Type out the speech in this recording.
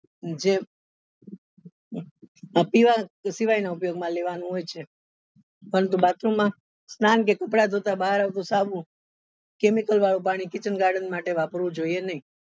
જે પીવા સિવાય નું ઉપયોગ માં લેવા નું છે અને બાકી માં સ્નાન કે કપડા ધોતા બહાર આવતા સાબુ chemical વાળું પાણી kitchen garden માટે વાપરવું જોઈએ નહી.